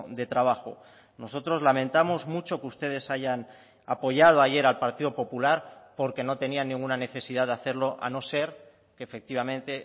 de trabajo nosotros lamentamos mucho que ustedes hayan apoyado ayer al partido popular porque no tenían ninguna necesidad de hacerlo a no ser que efectivamente